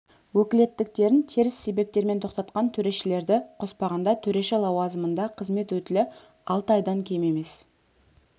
өкілеттіктерін теріс себептермен тоқтатқан төрешілерді қоспағанда төреші лауазымында қызмет өтілі алты айдан кем емес